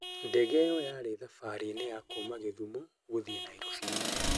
ndege iyo yarĩ thafarĩ-inĩ ya kuma gĩthumo gũthii Nairofi,